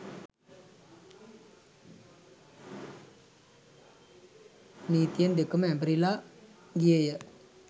නීතියත් දෙකම ඇඹරිලා ගියේය